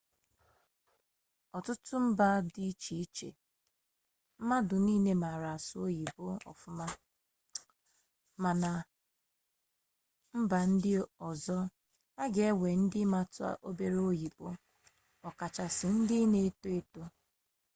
n'ọtụtụ mba dị iche iche mmadụ niile maara asụ oyibo ọfụma ma na mba ndị ọzọ a ga-enwe ndị matụ obere oyibo ọkachasị ndị na-eto eto